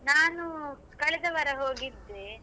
ನಾನು ಕಳೆದವಾರ ಹೋಗಿದ್ದೆ.